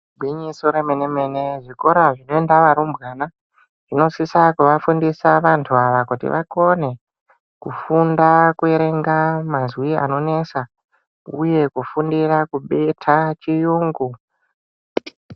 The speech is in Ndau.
Igwinyiso remene mene zvikora zvinoenda zvevarumbwana zvinosisa kuvafundisa vantu ava kuti vakone kufunda kuerenga mazwi anonesa uye kufundira kubeta chiyungu.